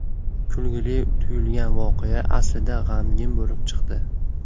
Kulgili tuyulgan voqea aslida g‘amgin bo‘lib chiqdi.